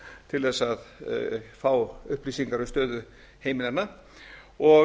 til þess að fá upplýsingar um stöðu heimilanna og